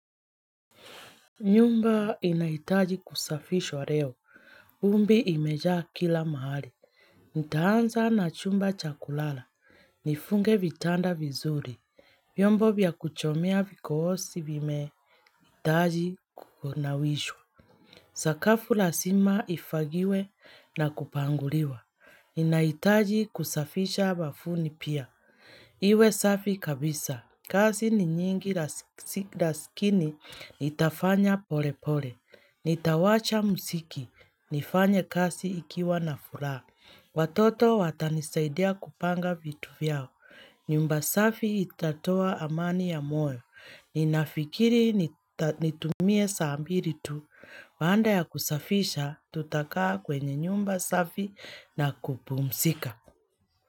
Nyumba inaitaji kusafishwa reo. Vumbi imejaa kila mahali. Nitaanza na chumba cha kulala. Nifunge vitanda vizuri. Vyombo vya kuchomea vikoosi vimee. Itaji kukunawishwa. Sakafu lasima ifagiwe na kupanguliwa. Inaitaji kusafisha wafuni pia. Iwe safi kabisa. Kazi ni nyingi lasikini, nitafanya pole pole. Nitawacha msiki, nifanye kazi ikiwa na furaha. Watoto watanisaidia kupanga vitu vyao. Nyumba safi itatoa amani ya moyo. Ninafikiri nitumie saa mbiri tu. Baanda ya kusafisha, tutakaa kwenye nyumba safi na kupumsika.